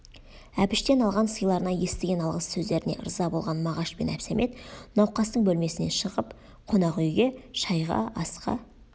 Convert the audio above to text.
әбіштен алған сыйларына естіген алғыс сөздеріне ырза болған мағаш пен әбсәмет науқастың бөлмесінен шығып қонақ үйге шайға асқа